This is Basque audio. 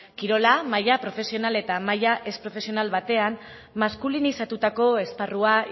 kirola maila profesional eta maila ez profesional batean maskulinizatutako esparrua